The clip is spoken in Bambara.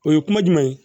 O ye kuma jumɛn ye